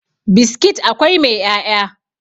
biskit akwai mai 'ya'ya